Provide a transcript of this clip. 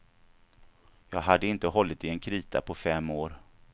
Jag hade inte hållit i en krita på fem år.